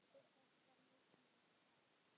Til þess þarf mikinn kjark.